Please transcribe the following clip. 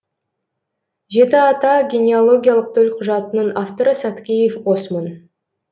жеті ата генеалогиялық төлқұжатының авторы саткеев осмон